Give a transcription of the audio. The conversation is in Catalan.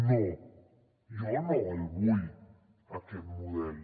no jo no el vull aquest model